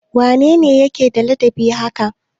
Wane ne yake da ladabi haka?